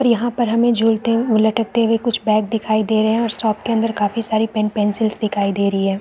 और यहाँ पे हमें झूलते लटकते हुए कुछ बैग दिखाई दे रहै है और शॉप के अंदर काफी सारे पेन पेंसिल्स दिखाई दे रही हैं।